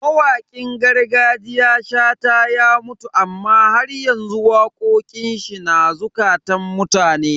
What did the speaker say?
Mawakin gargajiya Shata ya mutu amma haryanzu waƙoƙin shi na zukatan mutane.